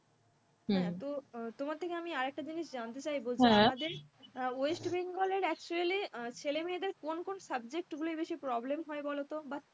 হ্যাঁ তো তোমার থেকে আমি আর একটা জিনিস জানতে চাইবো যে আমাদের west bengalactually আহ ছেলেমেয়েদের কোন কোন subject গুলোয় বেশি problem হয় বলতো? বা